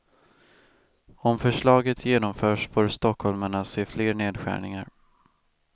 Om förslaget genomförs får stockholmarna se fler nedskärningar.